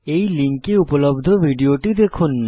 এই লিঙ্কে উপলব্ধ ভিডিওটি দেখুন